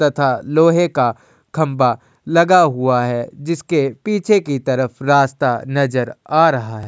तथा लोहे का खंबा लगा हुआ है जिसके पीछे की तरफ रास्ता नजर आ रहा है।